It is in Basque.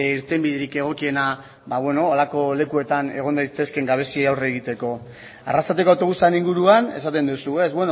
irtenbiderik egokiena ba holako lekuetan egon daitezken gabeziei aurre egiteko arrasateko autobusaren inguruan esaten duzu ez